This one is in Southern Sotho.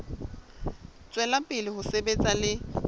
tswela pele ho sebetsa le